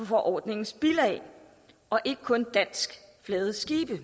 forordningens bilag og ikke kun danskflagede skibe